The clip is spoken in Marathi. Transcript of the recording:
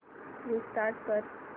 रिस्टार्ट कर